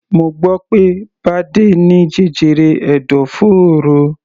Mo gbọ́ pé Bade ní jẹjẹrẹ ẹ̀dọ̀fóró.